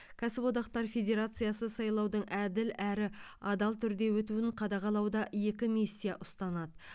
кәсіподақтар федерациясы сайлаудың әділ әрі адал түрде өтуін қадағалауда екі миссия ұстанады